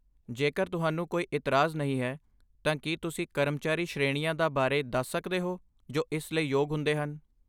ਜੇਕਰ ਤੁਹਾਨੂੰ ਕੋਈ ਇਤਰਾਜ਼ ਨਹੀਂ ਹੈ, ਤਾਂ ਕੀ ਤੁਸੀਂ ਕਰਮਚਾਰੀ ਸ਼੍ਰੇਣੀਆਂ ਦਾ ਬਾਰੇ ਦੱਸ ਸਕਦੇ ਹੋ ਜੋ ਇਸ ਲਈ ਯੋਗ ਹੁੰਦੇ ਹਨ?